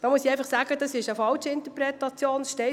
Dabei handelt es sich um eine Fehlinterpretation.